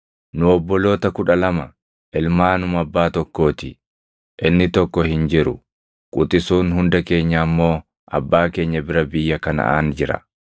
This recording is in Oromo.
Nu obboloota kudha lama ilmaanuma abbaa tokkoo ti; inni tokko hin jiru; quxisuun hunda keenyaa immoo abbaa keenya bira biyya Kanaʼaan jira.’